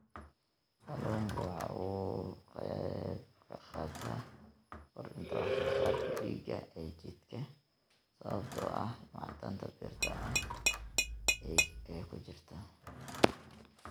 Kalluunku waxa uu ka qaybqaataa kordhinta wax soo saarka dhiigga ee jidhka sababtoo ah macdanta birta ah ee ku jirta.